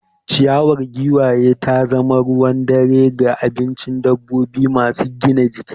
Ciyawa ta giwa ta zama ruwan dare ga abincin dabbobi masu gina jiki.